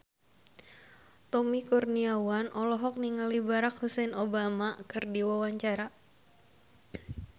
Tommy Kurniawan olohok ningali Barack Hussein Obama keur diwawancara